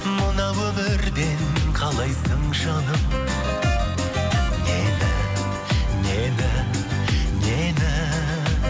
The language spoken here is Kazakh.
мына өмірден қалайсың жаным нені нені нені